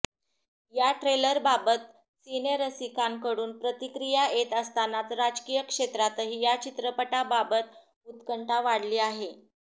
या ट्रेलरबाबत सिनेरसिकांकडून प्रतिक्रीया येत असतानाच राजकीय क्षेत्रातही या चित्रपटाबाबत उत्कंठा वाढली आहे